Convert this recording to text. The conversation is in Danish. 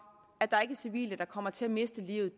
at der ikke er civile der kommer til at miste livet